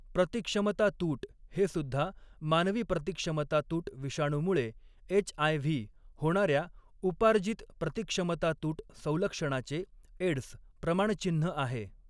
प्रतिक्षमतातूट हेसुद्धा मानवी प्रतिक्षमतातूट विषाणूमुळे एच.आय.व्ही. होणाऱ्या उपार्जित प्रतिक्षमतातूट संलक्षणाचे एड्स प्रमाणचिन्ह आहे.